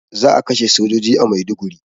Za a kashe sojoji a Maiduguri